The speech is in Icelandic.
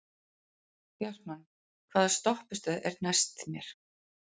Bjartmann, hvaða stoppistöð er næst mér?